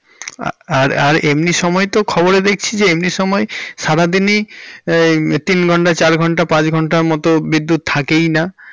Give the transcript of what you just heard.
আর আর এমনি সময় তো খবরে দেখছি যে এমনি সময় সারা দিনে তিন ঘন্টা চার ঘন্টা পাঁচ ঘন্টা মতো বিদ্যুৎ থেকেই না।